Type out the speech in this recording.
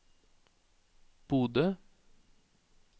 Bodø